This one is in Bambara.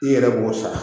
I yɛrɛ b'o sara